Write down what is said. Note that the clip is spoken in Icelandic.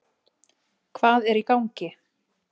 Hvað er í gangi?